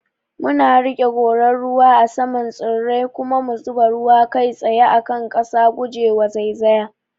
Muna riƙe gorar ruwa a saman tsirrai kuma mu zuba ruwa kai tsaye a kan ƙasa, guje wa zaizaya.